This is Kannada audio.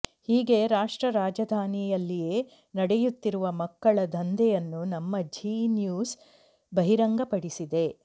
ಹೀಗೆ ರಾಷ್ಟ್ರ ರಾಜಧಾನಿಯಲ್ಲಿಯೇ ನಡೆಯುತ್ತಿರುವ ಮಕ್ಕಳ ದಂಧೆಯನ್ನು ನಮ್ಮ ಝೀ ನ್ಯೂಸ್ ಬಹಿರಂಗಪಡಿಸಿದೆ